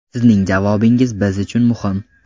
Sizning javobingiz biz uchun muhim.